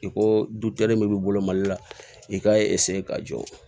I ko du kelen min b'i bolo mali la i k'a ka jɔ